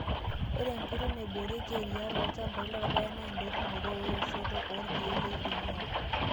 Ore enkoitoi naiboorieki eriyiaa tolchampai loorpaek naa endotunoto weoshotoo oorkiek leriyiaa.